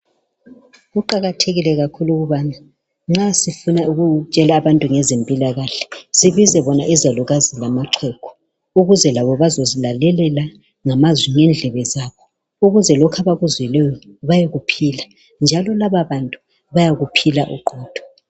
Kuqakathekile kakhulu ukubana nxa sifuna ukutshela abantu ngezempilakahle sibize bona izalukazi lamaxhegu ukuze labo bazozilalelela ngamazwi lendlebe zabo ukuze lokho abakuzwileyo bayokuphila, njalo lababantu bayakuphila oqotho.